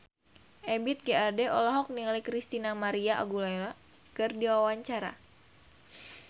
Ebith G. Ade olohok ningali Christina María Aguilera keur diwawancara